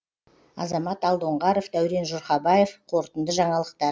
азамат алдоңғаров дәурен жұрхабаев қорытынды жаңалықтар